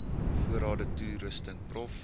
voorrade toerusting prof